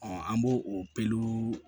an b'o o peluw